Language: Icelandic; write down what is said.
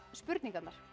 spurningarnar